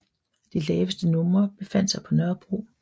De laveste numrer befandt sig på Nørrebro